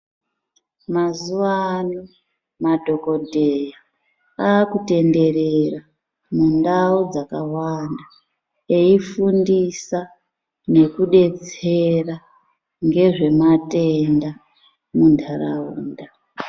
Mazuvano madhokodheya akutenderera mundao dzakawanda eifundisa nekubetsera nezvematenda muntaraunda.